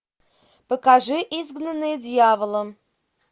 покажи изгнанные дьяволом